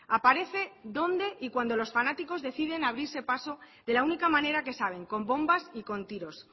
aparece donde y cuando los fanáticos deciden abrirse paso de la única manera que saben con bombas y con tiros